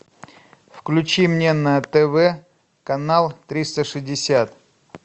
включи мне на тв канал триста шестьдесят